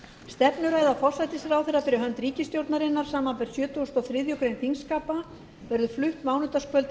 stefnuræða forsætisráðherra fyrir hönd ríkisstjórnarinnar samanber sjötugasta og þriðju greinar þingskapa verður flutt mánudagskvöldið